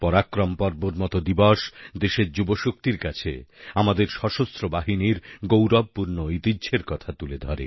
পরাক্রম পর্বর মত দিবস দেশের যুবশক্তির কাছে আমাদের সশস্ত্র বাহিনীর গৌরবপূর্ণ ঐতিহ্যের কথা তুলে ধরে